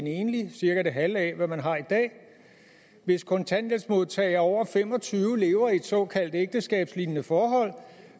enlig cirka det halve af hvad man har i dag hvis kontanthjælpsmodtagere over fem og tyve år lever i et såkaldt ægteskabslignende forhold